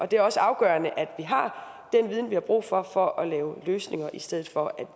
det er også afgørende at vi har den viden vi har brug for for at lave løsninger i stedet for